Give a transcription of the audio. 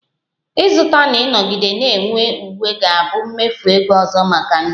Ịzụta na ịnọgide na-enwe uwe ga-abụ mmefu ego ọzọ maka ndị ọrụ